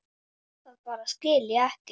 Það bara skil ég ekki.